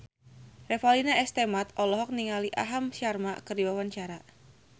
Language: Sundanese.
Revalina S. Temat olohok ningali Aham Sharma keur diwawancara